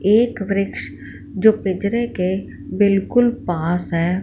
एक वृक्ष जो पिंजरे के बिल्कुल पास है।